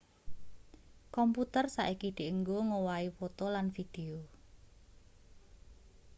komputer saiki dienggo ngowahi poto lan video